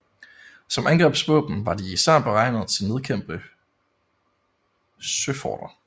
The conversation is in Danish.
Som angrebsvåben var de især beregnet til at nedkæmpe søforter